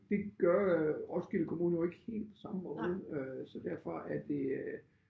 Det gør øh Roskilde kommune jo ikke helt på samme måde øh så derfor er det